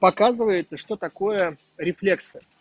показывается что такое рефлексы